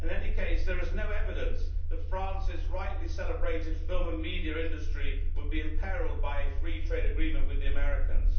In any case, there is no evidence that France's rightly celebrated film and media industry would be imperilled by a free trade agreement with the Americans.